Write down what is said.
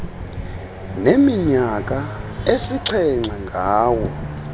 neminyaka esixhenxe ngawo